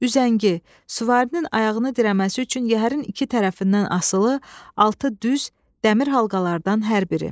Üzəngi, süvarinin ayağını dirəməsi üçün yəhərin iki tərəfindən asılı, altı düz dəmir halqalardan hər biri.